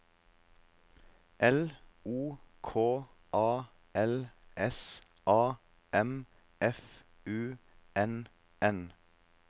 L O K A L S A M F U N N